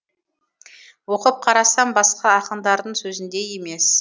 оқып қарасам басқа ақындардың сөзіндей емес